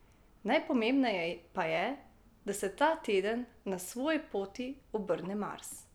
Najpomembneje pa je, da se ta teden na svoji poti obrne Mars.